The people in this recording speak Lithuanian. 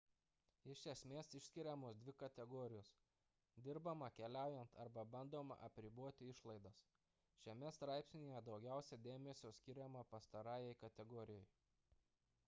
iš esmės išskiriamos dvi kategorijos dirbama keliaujant arba bandoma apriboti išlaidas šiame straipsnyje daugiausia dėmesio skiriama pastarajai kategorijai